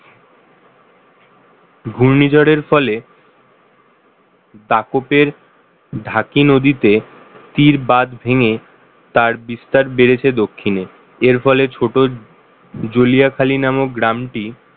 ঘূর্ণিঝড়ের ফলে দাপটের ঢাকি নদীতে স্থির বাঁধ ভেঙে তার বিস্তার বেড়েছে দক্ষিণে এর ফলে ছোট জ্বলিয়াখালী নামক গ্রামটি